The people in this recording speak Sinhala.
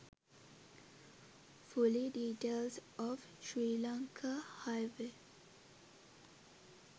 fully details of srilanka highway